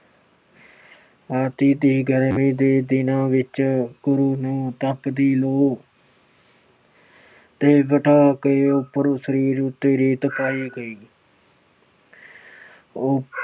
ਅੱਤ ਦੀ ਗਰਮੀ ਦੇ ਦਿਨਾਂ ਵਿੱਚ ਗੁਰੂ ਨੂੰ ਤੱਪਦੀ ਲੋਅ ਤੇ ਬਿਠਾ ਕੇ ਉਪਰੋਂ ਸਰੀਰ ਉਪਰ ਰੇਤ ਪਾਈ ਗਈ। ਉਹਨਾਂ ਨੂੰ